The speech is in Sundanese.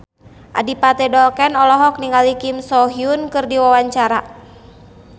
Adipati Dolken olohok ningali Kim So Hyun keur diwawancara